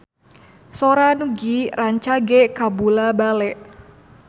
Sora Nugie rancage kabula-bale